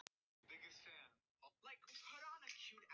Ég er bara að hugsa mig um.